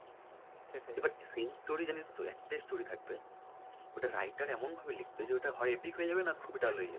এবার same story জানিস তো একটাই story থাকবে ওটা writer এমন ভাবে লিখবে যে ওটা হয় epic হয়ে যাবে নয় dull হয়ে যাবে।